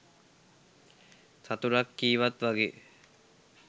සතුටක් කීවත් වගේ